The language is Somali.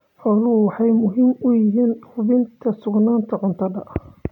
Xooluhu waxay muhiim u yihiin hubinta sugnaanta cuntada.